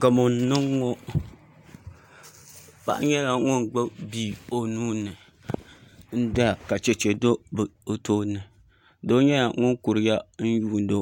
Gamo n niŋ ŋo paɣa nyɛla ŋun gbubi bia n doya ka chɛchɛ do o tooni doo nyɛla ŋun kuriya n yuundo